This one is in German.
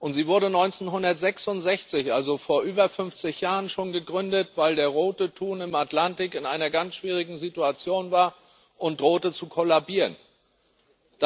Sie wurde 1966 also vor über 50 Jahren schon gegründet, weil der Rote Thun im Atlantik in einer ganz schwierigen Situation war und zu kollabieren drohte.